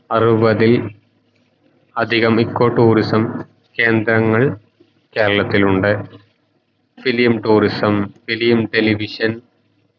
അറുവതിൽ അതികം eco tourism കേന്ദ്രങ്ങൾ കേരളത്തിലുണ്ട് film tourism film television